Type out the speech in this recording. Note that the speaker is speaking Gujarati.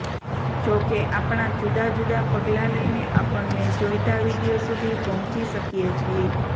જોકે આપણે જુદાં જુદાં પગલાં લઇને આપણને જોઈતા વીડિયો સુધી પહોંચી શકીએ છીએ